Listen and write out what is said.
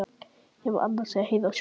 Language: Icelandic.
Ég var annars að heyra sögu.